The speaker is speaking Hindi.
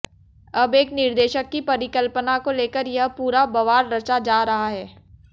अब एक निर्देशक की परिकल्पना को लेकर यह पूरा बवाल रचा जा रहा है